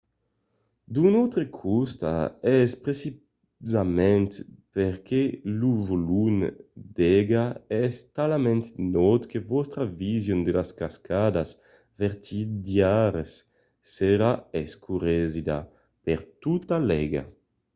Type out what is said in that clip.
d'un autre costat es precisament perque lo volum d'aiga es talament naut que vòstra vision de las cascadas vertadièras serà escuresida—per tota l'aiga!